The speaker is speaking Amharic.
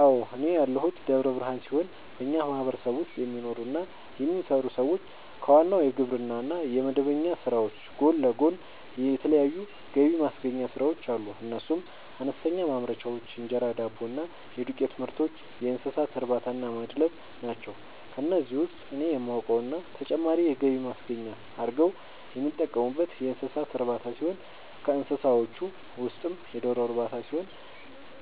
አዎ፤ እኔ ያለሁት ደብረ ብርሃን ሲሆን በኛ ማህበረሰብ ውስጥ የሚኖሩ እና የሚሰሩ ሰዎች ከዋናው የግብርና እና የመደበኛ ስራዎች ጎን ለጎን የተለያዩ ገብማስገኛ ስራዎች አሉ፤ እነሱም፦ አነስተኛ ማምረቻዎች(እንጀራ፣ ዳቦ እና የዱቄትምርቶች)፣የእንሰሳትእርባታናማድለብ ናቸው። ከነዚህ ውስጥ እኔ የማውቀው እና ተጨማሪ የገቢ ማስገኛ አርገው የሚጠቀሙበት የእንሰሳት እርባታ ሲሆን ከእንስሳዎቹ ውስጥም የዶሮ ርባታ ሲሆን፤